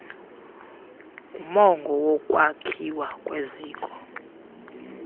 ngumongo wokwakhiwa kweziko